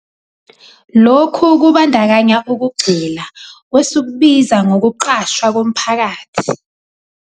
Lokhu kubandakanya ukugxila kwesikubiza 'ngokuqashwa komphakathi'.